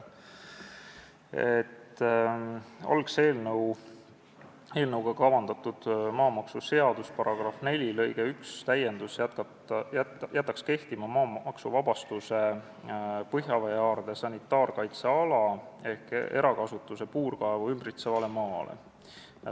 Algse eelnõuga kavandatud maamaksuseaduse § 4 lõike 1 täiendus jätaks kehtima maamaksuvabastuse põhjaveehaarde sanitaarkaitsealal ehk erakasutuses puurkaevu ümbritseval maal.